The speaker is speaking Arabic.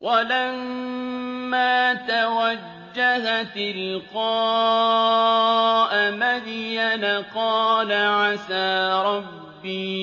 وَلَمَّا تَوَجَّهَ تِلْقَاءَ مَدْيَنَ قَالَ عَسَىٰ رَبِّي